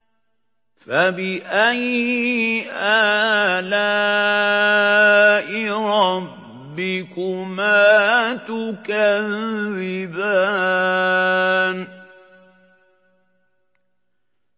فَبِأَيِّ آلَاءِ رَبِّكُمَا تُكَذِّبَانِ